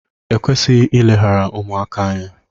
e kwesịghị ileghara ụmụaka anya